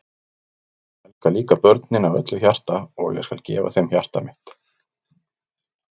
Ég elska líka börnin af öllu hjarta og ég skal gefa þeim hjarta mitt.